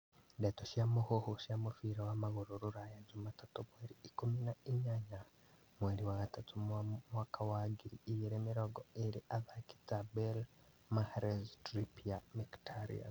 Ndeto cia mũhuhu cia mũbira wa magũrũ Rũraya juma tatũ mweri ikũmi na inyanya mweri wa gatatũ mwaka wa ngiri igĩrĩ mĩrongo ĩrĩ athaki ta Bale, Mahrez Trippier, Mkhitaryan